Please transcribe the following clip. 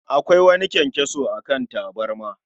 Akwai wani kyankyaso a kan tabarma